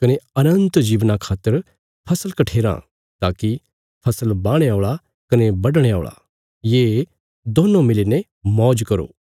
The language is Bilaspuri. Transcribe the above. कने अनन्त जीवना खातर फसल कठेराँ ताकि फसल बाहणे औल़ा कने बढणे औल़ा ये दोन्नों मिलीने मौज करो